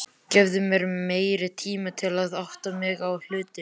Gefðu mér meiri tíma til að átta mig á hlutunum.